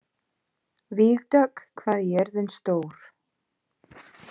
Vígdögg, hvað er jörðin stór?